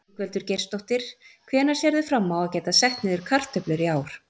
Ingveldur Geirsdóttir: Hvenær sérðu fram á að geta sett niður kartöflur í ár?